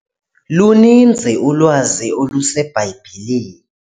Luninzi ulwazi oluseBhayibhileni.